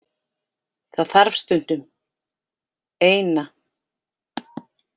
Það þarf stundum. Eina.